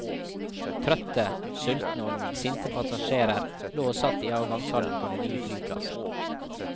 Trøtte, sultne og noen sinte passasjerer lå og satt i avgangshallen på den nye flyplassen.